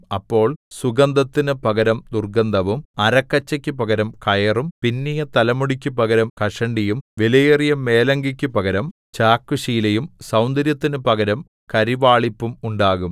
അപ്പോൾ സുഗന്ധത്തിനു പകരം ദുർഗ്ഗന്ധവും അരക്കച്ചയ്ക്കു പകരം കയറും പിന്നിയ തലമുടിക്കു പകരം കഷണ്ടിയും വിലയേറിയ മേലങ്കിക്കു പകരം ചാക്കുശീലയും സൗന്ദര്യത്തിനു പകരം കരിവാളിപ്പും ഉണ്ടാകും